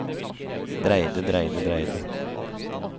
dreide dreide dreide